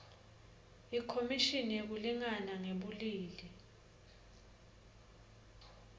ikhomishini yekulingana ngebulili